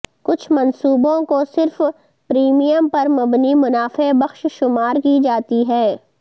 کچھ منصوبوں کو صرف پریمیم پر مبنی منافع بخش شمار کی جاتی ہے